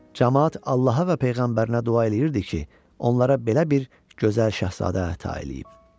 Camaat Allaha və peyğəmbərinə dua eləyirdi ki, onlara belə bir gözəl şahzadə əta eləyib.